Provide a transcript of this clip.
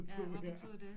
Ja hvad betød det